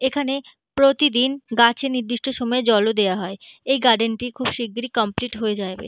এইখানে প্রতিদিন গাছে নির্দির্ষ্টই সময়ে জল দাওয়া হয়। এই গার্ডার্ণ খুব শিরগিরি কমপ্লিট হয়ে যাবে।